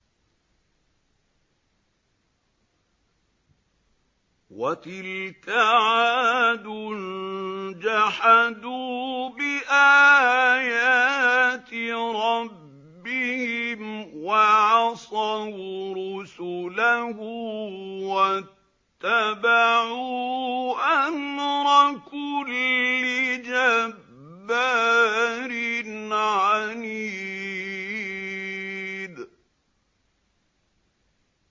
وَتِلْكَ عَادٌ ۖ جَحَدُوا بِآيَاتِ رَبِّهِمْ وَعَصَوْا رُسُلَهُ وَاتَّبَعُوا أَمْرَ كُلِّ جَبَّارٍ عَنِيدٍ